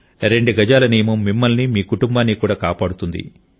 రెండు గజాల నియమం మిమ్మల్ని మీ కుటుంబాన్ని కూడా కాపాడుతుంది